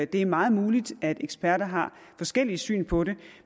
det er meget muligt at eksperter har forskellige syn på det